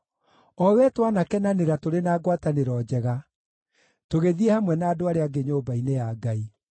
o wee twanakenanĩra tũrĩ na ngwatanĩro njega, tũgĩthiĩ hamwe na andũ arĩa angĩ nyũmba-inĩ ya Ngai.